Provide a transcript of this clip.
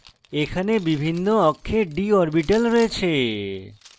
এখানে বিভিন্ন অক্ষে d orbitals রয়েছে